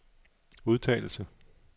udtalelse